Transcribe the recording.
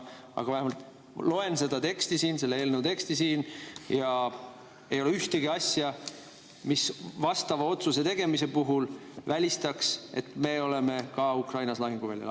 Aga ma loen selle eelnõu teksti ja siin ei ole ühtegi asja, mis vastava otsuse tegemise puhul välistaks, et me oleme ka Ukrainas lahinguväljal.